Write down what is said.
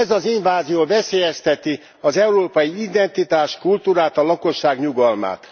Ez az invázió veszélyezteti az európai identitást, kultúrát, a lakosság nyugalmát.